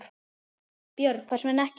Björn: Hvers vegna ekki?